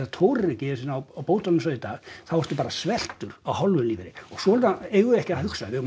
tórir ekki einu sinni á bótum eins og í dag þá ertu bara sveltur á hálfum lífeyri og svona eigum við ekki að hugsa við eigum